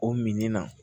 O min na